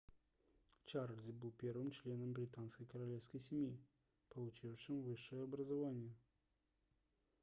чарльз был первым членом британской королевской семьи получившим высшее образование